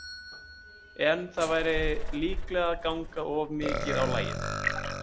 En það væri líklega að ganga of mikið á lagið.